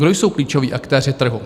Kdo jsou klíčoví aktéři trhu?